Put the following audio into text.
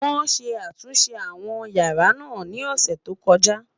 wón sé àtúnṣe àwọn yàrá nà ní ọsẹ tó koja